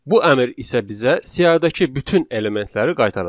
Bu əmr isə bizə siyahıdakı bütün elementləri qaytaracaq.